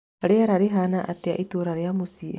rĩera rĩhana atĩa itũũra rĩa mũciĩ